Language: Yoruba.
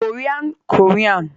Kòríà - Kòríàn